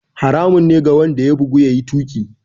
Haramun ne ga wanda ya bugu, ya yi tuƙi.